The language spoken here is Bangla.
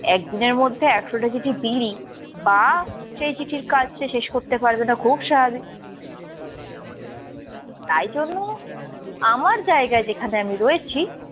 এক দিনের মধ্যে একশোটা চিঠি বিলি বা সেই চিঠির কাজ সে শেষ করতে পারবে না খুব স্বাভাবিক , তাই জন্য আমার জায়গায় যেখানে আমি রয়েছি